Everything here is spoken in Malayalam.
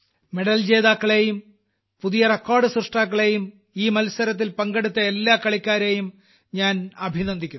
മെഡൽ ജേതാക്കളെയും പുതിയ റിക്കാർഡു സൃഷ്ടാക്കളെയും ഈ മത്സരത്തിൽ പങ്കെടുക്കുന്ന എല്ലാ കളിക്കാരേയും ഞാൻ അഭിനന്ദിക്കുന്നു